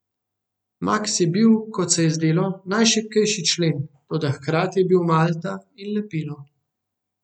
Maks je bil, kot se je zdelo, najšibkejši člen, toda hkrati je bil malta, lepilo.